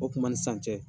O kuma ni san cɛ